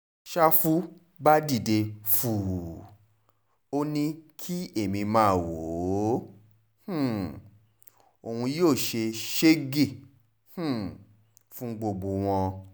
ṣàfù bá dìde fùú ò ní kí èmi máa wò ó um òun yóò ṣe sẹ́ẹ́gẹ́ um fún gbogbo wọn